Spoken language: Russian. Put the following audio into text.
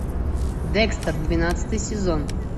декстер двенадцатый сезон